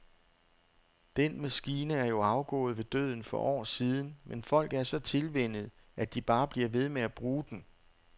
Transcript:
Den maskine er jo afgået ved døden for år siden, men folk er så tilvænnet, at de bare bliver ved med at bruge den.